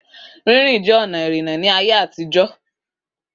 Rínrìn jẹ́ ọ̀nà ìrìnnà ní ayé àtijọ́.